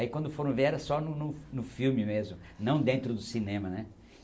Aí quando foram ver era só no no no no filme mesmo, não dentro do cinema, né?